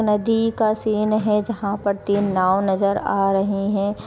नदी का सीन है। जहां पर तीन नाव नजर आ रहे हैं।